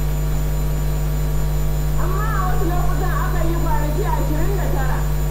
Amma a wasu lokutan akan yi kwanaki ashirin da tara.